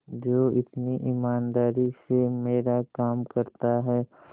जो इतनी ईमानदारी से मेरा काम करता है